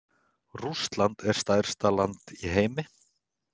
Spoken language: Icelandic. Rússland er stærsta land í heimi.